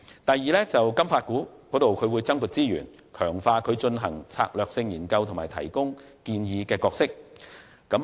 第二，向金發局增撥資源，強化其進行策略性研究和提供建議的角色。